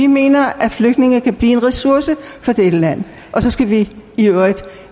mener at flygtningene kan blive en ressource for dette land og så skal vi i øvrigt